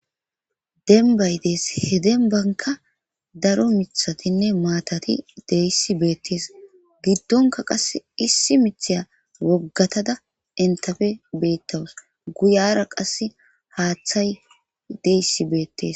Denbay dees he denbanka daro mithatinne maatati deyssi beettees giddonka qass issi mitheya woggatada entafe beettawus guyara qass haaththay deyssi beettes.